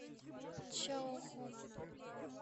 чаоху